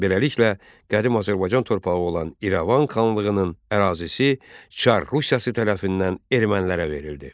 Beləliklə, qədim Azərbaycan torpağı olan İrəvan xanlığının ərazisi Çar Rusiyası tərəfindən ermənilərə verildi.